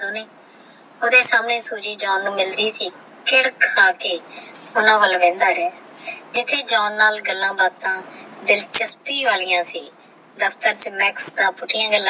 ਓਹਦੇ ਸਾਮਨੇ Suzy John ਨੂ ਮਿਲਦੀ ਸੀ ਫਿਰ ਖਾ ਕੇ ਓਹਨਾ ਵਾਲ ਵੇਖਦਾ ਰੇਯਾ ਜਿਥੇ ਜਾਨ ਨਾਲ ਗੱਲਾਂ ਬਤਾ ਦਿਲਚਸਪੀ ਵਾਲਿਯਾ ਸੀ ਦਫਤਰ ਚ ਮੈ ਪੁਥਿਯਾ ਗੱਲਾਂ ਕਰਦਾ ਸੀ